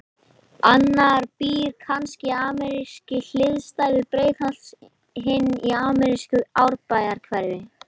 Annar býr kannski í amerískri hliðstæðu Breiðholts, hinn í amerísku Árbæjarhverfi.